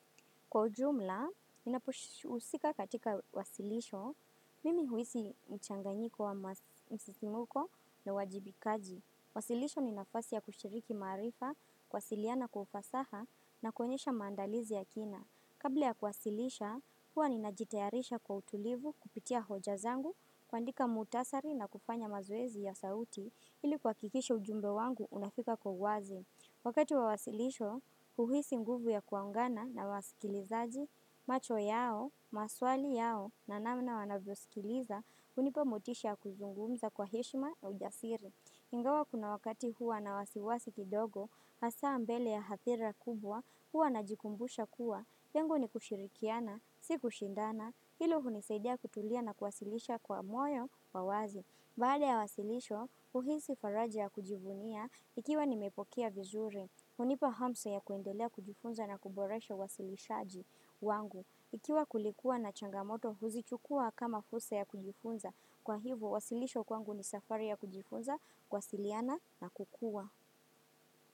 Kwa jumla, ninapohusika katika wasilisho, mimi huisi mchanganyiko wa msisikimuko na wajibikaji. Wasilisho ni nafasi ya kushiriki maarifa, kwasiliana kwa ufasaha na kuonyesha maandalizi ya kina. Kabla ya kwasilisha, huwa ninajitayarisha kwa utulivu kupitia hoja zangu kuandika mutasari na kufanya mazoezi ya sauti ili kwa kuhakikisha ujumbe wangu unafika kogwazi. Wakati wa wasilisho, uhisi mguvu ya kuangana na wasikilizaji, macho yao, maswali yao na namna wanavyo sikiliza, unipa motisha ya kuzungumza kwa heshima ya ujasiri. Ingawa kuna wakati huwa na wasiwasi kidogo, hasa mbele ya hathira kubwa, huwa na jikumbusha kuwa, yangu ni kushirikiana, si kushindana, hilo hunisaidia kutulia na kuwasilisha kwa moyo wawazi. Baale ya wasilisho, uhisi faraji ya kujivunia ikiwa nimepokea vizuri. Unipa hamso ya kuendelea kujifunza na kuboresha wasilishaji wangu. Ikiwa kulikuwa na changamoto, huzichukua kama fursa ya kujifunza. Kwa hivo, wasilisho kwangu ni safari ya kujifunza kuasiliana na kukua.